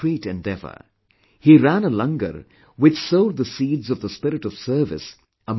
He ran a LANGAR which sowed the seeds of the spirit of service amongst fellow beings